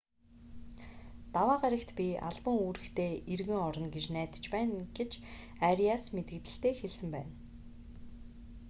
даваа гарагт би албан үүрэгтээ эргэн орно гэж найдаж байна гэж ариас мэдэгдэлдээ хэлсэн байна